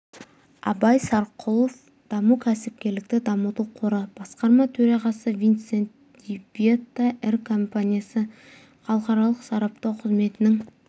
абай сарқұлов даму кәсіпкерлікті дамыту қоры басқарма төрағасы винцент ди бетта ір компаниясы халықаралық сараптау қызметінің